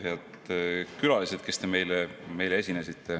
Head külalised, kes te meile esinesite!